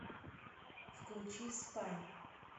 включи спа